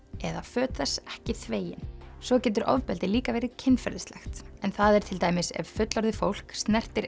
eða föt þess ekki þvegin svo getur ofbeldi líka verið kynferðislegt en það er til dæmis ef fullorðið fólk snertir